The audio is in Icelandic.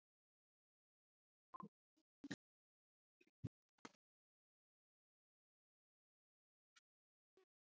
Guðni:. nei.